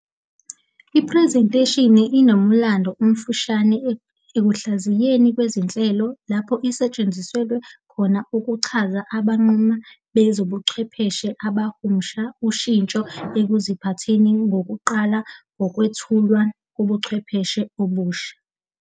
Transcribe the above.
Iphrezentheshini inomlando omfushane ekuhlaziyeni kwezenhlalo, lapho isetshenziswe khona ukuchaza abanquma bezobuchwepheshe abahumusha ushintsho ekuziphatheni njengokuqala ngokwethulwa kobuchwepheshe obusha.